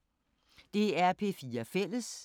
DR P4 Fælles